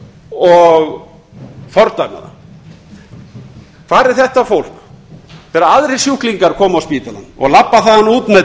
og fordæma hvar er þetta fólk þegar aðrir sjúklingar koma á spítalann og labba